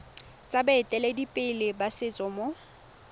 tsa baeteledipele ba setso mo